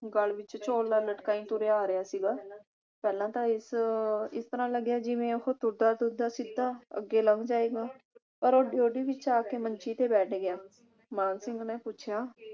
ਗੱਲ ਵਿਚ ਝੋਲਾ ਲਟਕਾਈ ਤੁਰਿਆ ਆ ਰਿਹਾ ਸੀਗਾ। ਪਹਿਲਾਂ ਤਾਂ ਇਸ ਇਸ ਤਰ੍ਹਾਂ ਲੱਗਿਆ ਜਿਵੇਂ ਉਹ ਤੁਰਦਾ ਤੁਰਦਾ ਸਿੱਧਾ ਅੱਗੇ ਲੰਘ ਜਾਏਗਾ ਪਰ ਉਹ ਡਿਉਢੀ ਵਿਚ ਆ ਕੇ ਮੰਜੀ ਤੇ ਬੈਠ ਗਿਆ। ਮਾਨ ਸਿੰਘ ਨੇ ਪੁੱਛਿਆ